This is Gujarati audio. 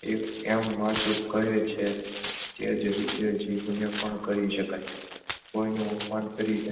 એમ માશૂક કહે છે તે જ રીતે જીભને પણ કહી શકાય. કોઈનું અપમાન કરી તે